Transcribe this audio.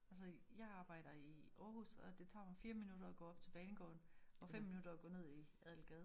Altså jeg arbejder i Aarhus og det tager mig 4 minutter at gå op til banegården og 5 minutter at gå ned i Adelgade